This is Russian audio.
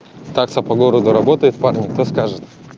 такса по городу работает парни кто скажет